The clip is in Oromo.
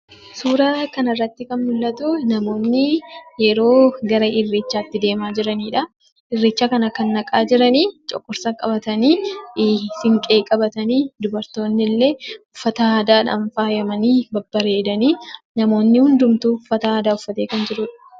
Suuraa kanarratti kan mul'atu namoonni yeroo gara Irreechaatti adeemaa jiranidha. Irreecha kana kan dhaqaa jiran coqorsa qabatanii, Siinqee qabatanii dubartoonnillee uffata aadaadhaan faayamanii babbareedanii namni hundumtuu uffata aadaa uffatee kan jirudha.